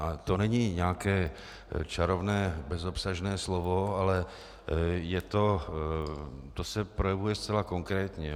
A to není nějaké čarovné bezobsažné slovo, ale to se projevuje zcela konkrétně.